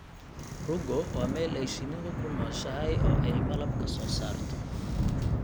Rugo waa meel ay shinnidu ku nooshahay oo ay malab ka soo saarto.